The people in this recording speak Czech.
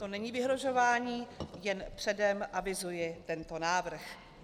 To není vyhrožování, jen předem avizuji tento návrh.